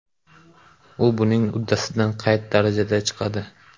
U buning uddasidan qay darajada chiqadi?